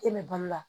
E bɛ balo la